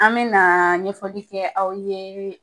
An me na ɲɛfɔli kɛ aw ye